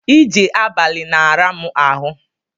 Ije abali na-ara mu ahu